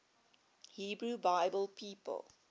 hebrew bible people